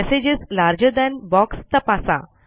messages larger than box तपासा